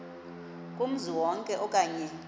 kumzi wonke okanye